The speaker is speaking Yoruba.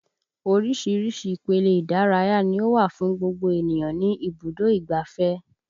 Oríṣiríṣi ipele ìdárayá ni ó wà fún gbogbo ènìyàn ní ibùdó ìgbáfẹ́